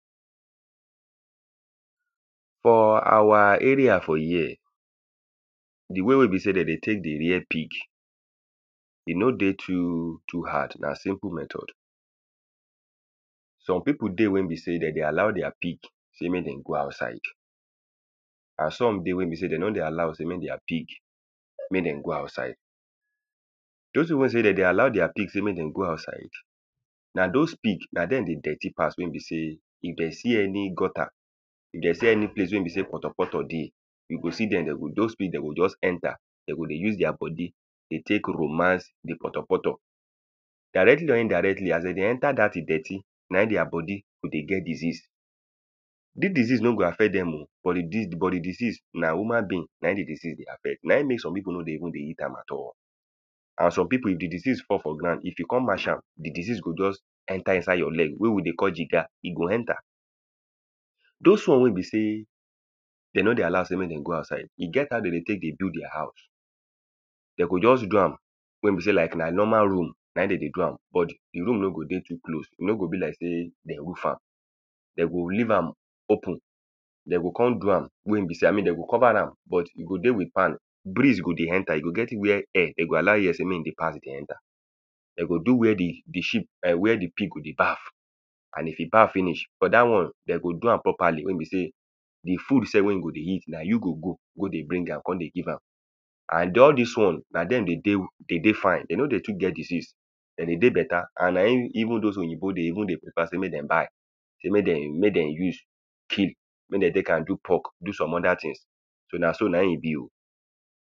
For our area for here the way wey be sey de dey take dey rare pig, e no dey too too hard. Na simple method. Some people dey wey be sey de dey allow their pig sey mey dem go outside. And some dey wey be sey de no dey allow sey make their pig mey dem go outside. Dos people wey be sey de dey allow their pig mey dem go outside, na dos pig na dem dey dirty pass wey be sey if dem see any gutter, if de see any place wey be sey kpotokpoto dey, you go see dem de go dos pig de go just enter. De go dey use their body they take romance the kpotokpoto. Directli or indirectly as de dey enter dat e dirty, na im their body go dey get disease. Dis disease no go affect dem oh. but the but the disease na human being. Na im the disease dey affect. Na im make some people no dey even dey eat am at all. And some people if the disease fall for ground, if you con match am, the disease go just enter inside your leg. Wey we dey call jiga. E go enter. Dos one wey be sey de no dey allow sey make dem go outside, e get as how de dey take de do their house. De go just do am wey be sey na like normal room na im dem dey do am but the room no go dey too close. E no go be like sey de roof am. De go leave am open. De go con do am wey im be sey, i mean de go cover am but e go dey with fan, breeze go dey enter. E go get where air de go allow air dey pass dey enter. De go do where the the sheep where the pig go dey bath. And if e bath finish for that one dey go do am properly wey e be sey the food self wey e go dey eat na you go go. Go dey bring am. Con dey give am. And de all this one, na dem dey, they dey fine. De no dey too get disease. De dey dey better. And na even dos oyinbo dey even they prefer say make dem buy. Sey mey de mey dem use kill. Mey de take am do pork. Do some other things. So na so na im e be.